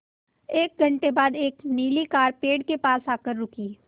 एक घण्टे बाद एक नीली कार पेड़ के पास आकर रुकी